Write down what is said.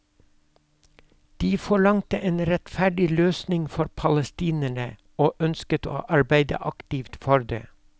De forlangte en rettferdig løsning for palestinerne og ønsket å arbeide aktivt for det.